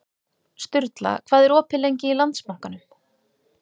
Sturla, hvað er opið lengi í Landsbankanum?